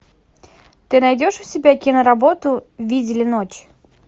ты найдешь у себя киноработу видели ночь